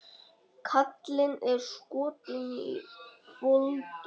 Kallinn er skotinn í Foldu.